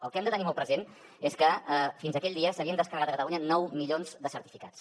el que hem de tenir molt present és que fins aquell dia s’havien descarregat a catalunya nou milions de certificats